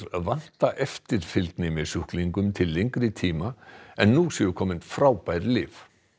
vanta eftirfylgni með sjúklingum til lengri tíma en nú séu komin frábær lyf